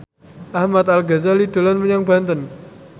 Ahmad Al Ghazali dolan menyang Banten